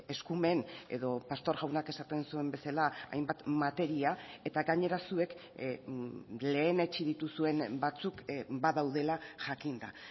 eskumen edo pastor jaunak esaten zuen bezala hainbat materia eta gainera zuek lehenetsi dituzuen batzuk badaudela jakinda